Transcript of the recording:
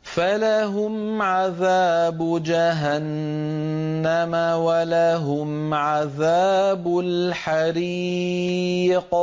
فَلَهُمْ عَذَابُ جَهَنَّمَ وَلَهُمْ عَذَابُ الْحَرِيقِ